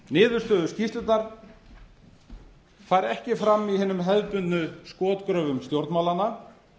niðurstöður skýrslunnar fari ekki farm í hinum hefðbundnu skotgröfum stjórnmálanna